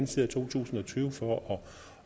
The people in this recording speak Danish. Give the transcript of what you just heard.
side af to tusind og tyve for